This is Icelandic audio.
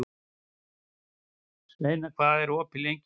Sveina, hvað er opið lengi í Íslandsbanka?